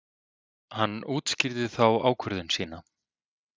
Hann útskýrði þá ákvörðun sína.